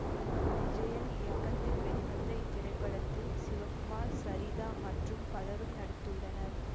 விஜயன் இயக்கத்தில் வெளிவந்த இத்திரைப்படத்தில் சிவகுமார் சரிதா மற்றும் பலரும் நடித்துள்ளனர்